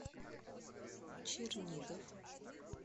чернигов